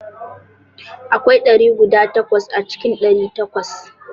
Akwai ɗari guda takwas a cikin ɗari takwas.